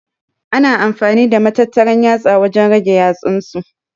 Ana amfani da matattaran yatsa wajen rage yatsunsu.